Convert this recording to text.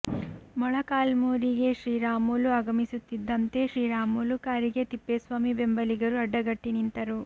ಮೊಳಕಾಲ್ಮೂರಿಗೆ ಶ್ರೀರಾಮುಲು ಆಗಮನಿಸುತ್ತಿದ್ದಂತೆ ಶ್ರೀರಾಮುಲು ಕಾರಿಗೆ ತಿಪ್ಪೇಸ್ವಾಮಿ ಬೆಂಬಲಿಗರು ಅಡಗಟ್ಟಿ ನಿಂತರು